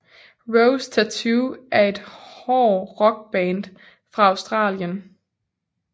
Rose Tattoo er et hård rock band fra Australien